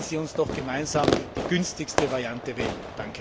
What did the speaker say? Aber lassen Sie uns doch gemeinsam die günstigste Variante wählen!